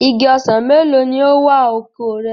Igi ọsàn mélòó ni ó wà oko rẹ?